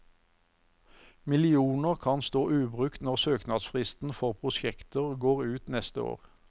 Millioner kan stå ubrukt når søknadsfristen for prosjekter går ut neste år.